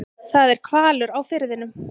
Það er hvalur á firðinum.